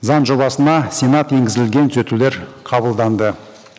заң жобасына сенат енгізілген түзетулер қабылданды